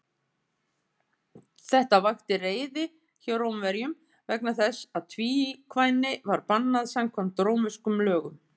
Þetta vakti reiði hjá Rómverjunum, vegna þess að tvíkvæni var bannað samkvæmt rómverskum lögum.